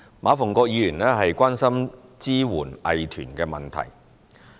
馬逢國議員關心支援藝團的問題。